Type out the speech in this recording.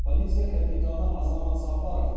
полиция капитаны азамат сапарова